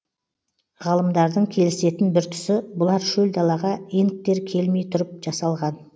ғалымдардың келісетін бір тұсы бұлар шөл далаға инктер келмей тұрып жасалған